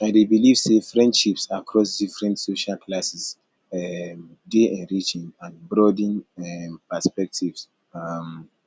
i dey believe say friendships across different social classes um dey enriching and broaden um perspectives um